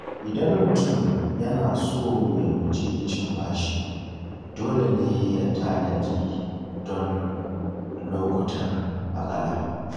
Idan mutum yana so ya guji cin bashi, dole ne ya tanadi don lokutan matsala.